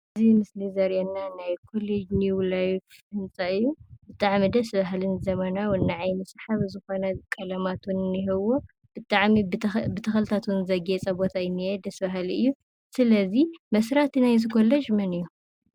እዚ ምስሊ ዘሪኢና ናይ ኮሌጅ ኒው ላይፍ ህንፃ እዩ። ብጣዕሚ ደስ በሃልን ዘመናዊ ንዓይኒ ሰሓቢ ዝኾነ ቀለማት ዉን እነሂዎ። ብጣዕሚ ብተኽ ብተኽልታት ዉን ዘግየፀ ቦታ እዩ ዝኒሄ። ደስ ባህሊ እዩ። ስለዚ መስራቲ ናይዚ ኮሌጅ መን እዩ?